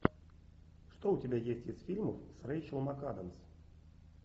что у тебя есть из фильмов с рэйчел макадамс